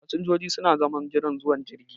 Fasinjojin su na zaman jiran zuwan jirgi.